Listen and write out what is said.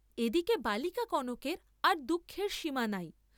এ দিকে বালিকা কনকের আর দুঃখের সীমা নাই।